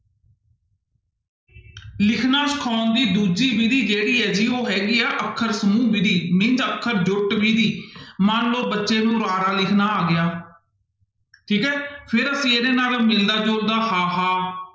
ਲਿਖਣਾ ਸਿਖਾਉਣ ਦੀ ਦੂਜੀ ਵਿੱਧੀ ਜਿਹੜੀ ਹੈ ਜੀ ਉਹ ਹੈਗੀ ਹੈ ਅੱਖਰ ਸਮੂਹ ਵਿੱਧੀ means ਅੱਖਰ ਜੁੱਟ ਵਿੱਧੀ ਮਨ ਲਓ ਬੱਚੇ ਨੂੰ ਵਾਕ ਲਿਖਣਾ ਆ ਗਿਆ, ਠੀਕ ਹੈ ਫਿਰ ਅਸੀਂ ਇਹਦੇ ਨਾਲ ਮਿਲਦਾ ਜੁਲਦਾ ਹਾਹਾ